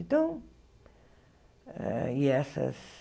Então, ah e essas...